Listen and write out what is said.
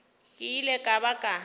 ke ile ka ba ka